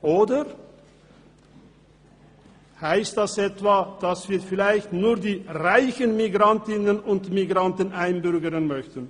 Oder heisst dies etwa, dass wir nur die reichen Migrantinnen und Migranten einbürgern möchten?